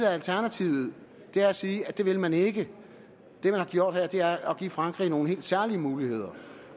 er alternativet at sige at det vil man ikke det man har gjort her er at give frankrig nogle helt særlige muligheder